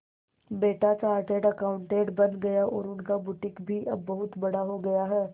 बेटा chartered accountant बन गया और उनका बुटीक भी अब बहुत बड़ा हो गया है